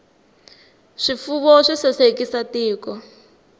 swifuwo swi sasekisa tiko